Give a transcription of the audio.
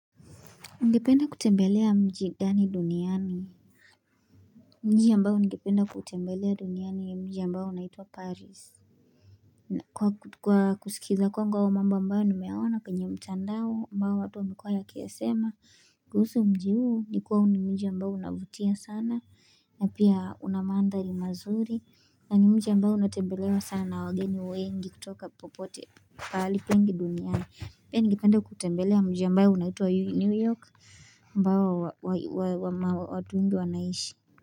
Ugependa kutembelea mji gani duniani?. Mji ambao nigependa kuutembelea duniani ni mji ambao unaitwa paris na kwa Kwa kusikiza kwangu au mambo ambayo nimeyaona kwenye mtandao ambao watu wamekuwa wakiyasema kuhusu mji huu ni kuwa huu ni mji ambao unavutia sana na pia unamandhari mazuri na ni mji ambao unatembelewa sana na wageni wengi kutoka popote pahali pegi duniani Pia nigependa kutembelea mji ambao unaitwa yu Newyork ambao wa wa wa wama watu wengi wanaishi.